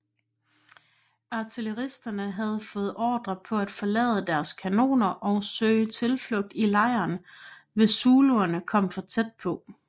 Artilleristerne havde fået ordre på at forlade deres kanoner og søge tilflugt i lejren hvis zuluerne kom for tæt på